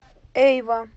эйва